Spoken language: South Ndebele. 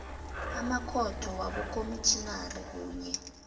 amakhotho wabokomitjhinari kunye